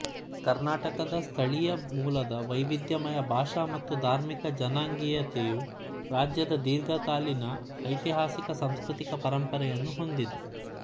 ಕರ್ನಾಟಕದ ಸ್ಥಳೀಯ ಮೂಲದ ವೈವಿಧ್ಯಮಯ ಭಾಷಾ ಮತ್ತು ಧಾರ್ಮಿಕ ಜನಾಂಗೀಯತೆಯು ರಾಜ್ಯದ ದೀರ್ಘಕಾಲೀನ ಐತಿಹಾಸಿಕ ಸಾಂಸ್ಕೃತಿಕ ಪರಂಪರೆಯನ್ನು ಹೊಂದಿದೆ